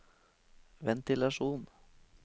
ventilasjon